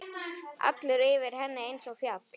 Allur yfir henni einsog fjall.